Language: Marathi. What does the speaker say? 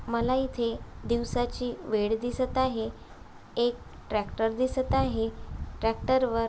मला इथे दिवसाची वेळ दिसत आहे एक ट्रॅक्टर दिसत आहे ट्रॅक्टर वर--